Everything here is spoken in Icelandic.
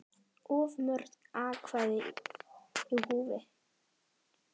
Of mörg atkvæði í húfi?